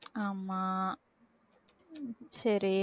ஆமா சரி